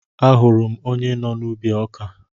Ahụrụ m onye nọ n'ubi ọkà